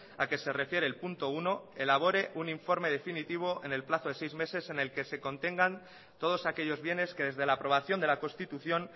a que se refiere el punto uno elabore un informe definitivo en el plazo de seis meses en el que se contengan todos aquellos bienes que desde la aprobación de la constitución